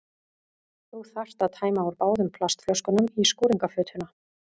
Þú þarft að tæma úr báðum plastflöskunum í skúringafötuna.